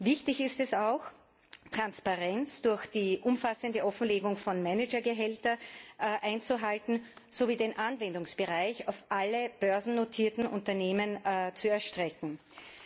Wichtig ist es auch, Transparenz durch die umfassende Offenlegung von Managergehältern einzuhalten sowie den Anwendungsbereich auf alle börsennotierten Unternehmen auszuweiten.